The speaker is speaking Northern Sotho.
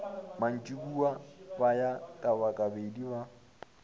mantšiboa ba ya kabababedi ba